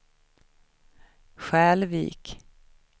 Skälvik